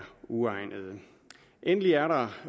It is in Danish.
uegnede endelig er